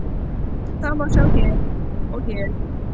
Það má sjá hér og hér.